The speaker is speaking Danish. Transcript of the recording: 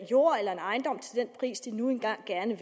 jord eller en ejendom til den pris de nu engang gerne